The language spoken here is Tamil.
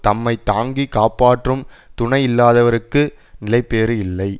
தம்மை தாங்கி காப்பாற்றும் துணை இல்லாதவர்க்கு நிலைபேறு இல்லை